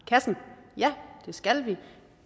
kassen ja det skal vi